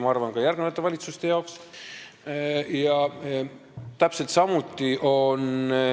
Ma arvan, et nii on see ka järgmiste valitsustega.